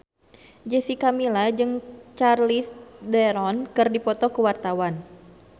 Jessica Milla jeung Charlize Theron keur dipoto ku wartawan